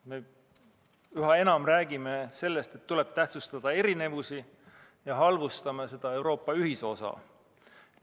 Me üha enam räägime sellest, et tuleb tähtsustada erinevusi, ja halvustame Euroopa ühisosa.